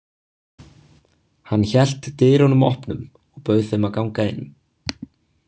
Hann hélt dyrunum opnum og bauð þeim að ganga inn.